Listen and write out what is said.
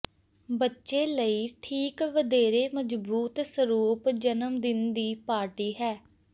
ਬੱਚੇ ਲਈ ਠੀਕ ਵਧੇਰੇ ਮਜ਼ਬੂਤ ਸਰੂਪ ਜਨਮ ਦਿਨ ਦੀ ਪਾਰਟੀ ਹੈ